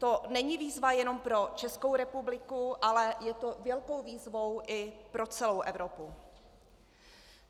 To není výzva jenom pro Českou republiku, ale je to velká výzva i pro celou Evropu.